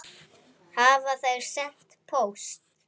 Hafa þær sent póst?